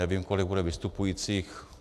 Nevím, kolik bude vystupujících.